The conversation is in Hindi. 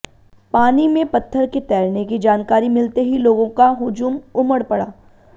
पानी में पत्थर के तैरने की जानकारी मिलते ही लोगों का हुजूम उमड पडा